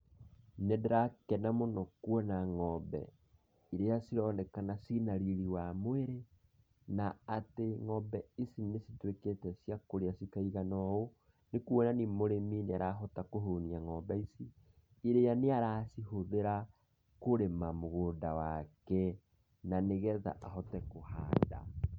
Nĩ ndĩrakena mũno kuona ng'ombe iria cironekana ciĩna riri wa mwĩrĩ, na atĩ ng'ombe ici nĩ cituĩkĩte cia kũrĩa cikaigana ũũ, nĩ kuonania mũrĩmi nĩ arahota kũhũnia ng'ombe ici, iria nĩaracitũmĩra kũrĩma mũgũnda wake, na nĩgetha ahote kũhanda.